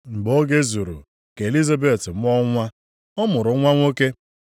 Mgbe oge zuru ka Elizabet mụọ nwa, ọ mụrụ nwa nwoke.